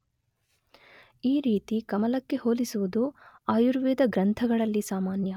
ಈ ರೀತಿ ಕಮಲಕ್ಕೆ ಹೋಲಿಸುವುದು ಆಯುರ್ವೇದ ಗ್ರಂಥಗಳಲ್ಲಿ ಸಾಮಾನ್ಯ